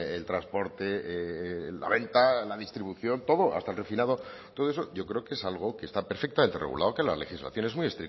el transporte la venta la distribución todo hasta refinado todo eso yo creo que es algo que está perfectamente regulado que la legislación es muy